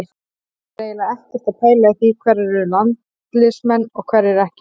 Ég er eiginlega ekkert að pæla í því hverjir eru landsliðsmenn og hverjir ekki.